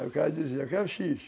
Aí o cara dizia, eu quero xis